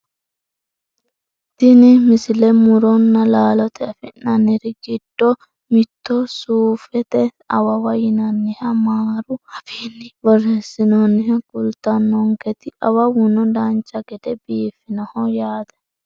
tini misile muronna laalote afi'nanniri giddo mitto suufete awawa yinanniha maaru afiinni borreessinoonniha kultanonkete awawuno dancha gede biifinoho yaate .